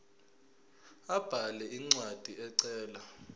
abhale incwadi ecela